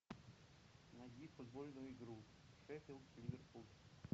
найди футбольную игру шеффилд ливерпуль